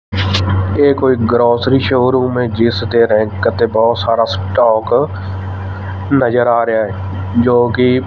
ਇਹ ਕੋਈ grocery showroom ਐ ਜਿਸ ਦੇ ਰੈਂਕ ਤੇ ਬਹੁਤ ਸਾਰਾ ਸਟਾਕ ਨਜ਼ਰ ਆ ਰਿਹਾ ਜੋ ਕਿ--